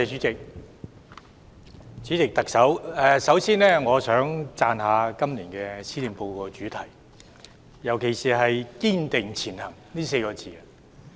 主席，特首，首先我想讚賞今年施政報告的主題，尤其是"堅定前行 "4 個字。